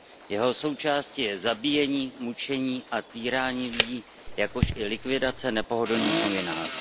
Jeho součástí je zabíjení, mučení a týrání lidí, jakož i likvidace nepohodlných novinářů.